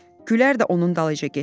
Gülər də onun dalıca getdi.